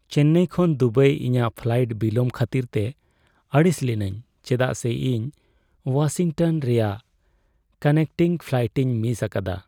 ᱪᱮᱱᱱᱟᱭ ᱠᱷᱚᱱ ᱫᱩᱵᱟᱭ ᱤᱧᱟᱹᱜ ᱯᱷᱞᱟᱭᱤᱴ ᱵᱤᱞᱚᱢ ᱠᱷᱟᱹᱛᱤᱨᱛᱮ ᱟᱹᱲᱤᱥ ᱞᱤᱱᱟᱹᱧ ᱪᱮᱫᱟᱜ ᱥᱮ ᱤᱧ ᱳᱣᱟᱥᱤᱝᱴᱚᱱ ᱨᱮᱭᱟᱜ ᱠᱟᱱᱮᱠᱴᱤᱝ ᱯᱷᱞᱟᱭᱤᱴᱤᱧ ᱢᱤᱥ ᱟᱠᱟᱫᱟ ᱾